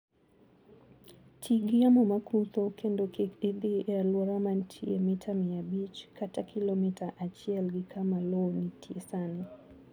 Ti gi yamo ma kutho kendo kik idhi e alwora ma nitie mita mia abich kata kilomita achiel gi kama lowo nitie sani.